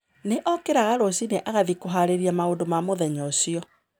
Nĩ okĩraga rũcinĩ agathiĩ kũhaarĩria maũndũ ma mũthenya ũcio.